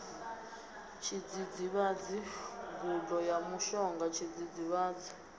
tshidzidzivhadzi gudo ya mushonga tshidzidzivhadzi